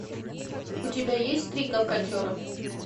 у тебя есть три гавкотера